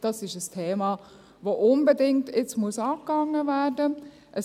Das ist ein Thema, das jetzt unbedingt angegangen werden muss.